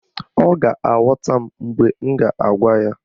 Ọ ga-aghọta m mgbe m gwara ya.